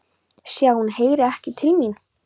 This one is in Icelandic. Sé að hún heyrir ekki til mín.